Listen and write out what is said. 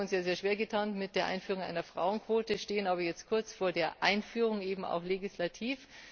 Wir haben uns ja sehr schwer getan mit der Einführung einer Frauenquote, stehen aber jetzt kurz vor der Einführung, eben auch legislativ.